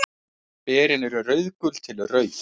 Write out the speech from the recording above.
Berin eru rauðgul til rauð.